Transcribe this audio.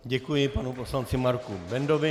Děkuji panu poslanci Marku Bendovi.